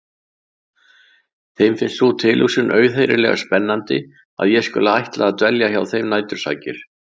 Þeim finnst sú tilhugsun auðheyrilega spennandi að ég skuli ætla að dvelja hjá þeim nætursakir.